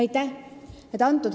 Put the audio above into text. Aitäh!